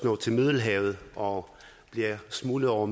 når til middelhavet og bliver smuglet over